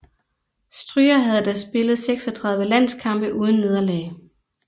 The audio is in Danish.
Stryger havde da spillet 36 landskampe uden nederlag